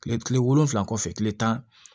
Kile kile wolonwula kɔfɛ kile tan